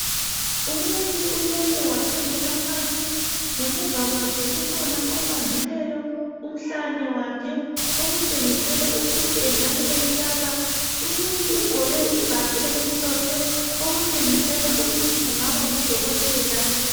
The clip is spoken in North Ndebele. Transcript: Umuntu ulele wakhangela phansi ngemuva kwakhe kukhona ombambileyo umhlane wakhe okutshengisela ukuthi engabe emhlaba umuntu ugqoke ibhatshi elimhlophe okutshengisela ukuthi kungabe ngudokotela.